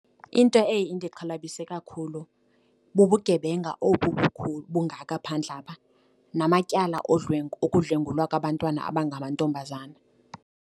Into eye indixhalabise kakhulu bubugebenga obu bungaka phandle apha namatyala okudlwengulwa kwabantwana abangamantombazana.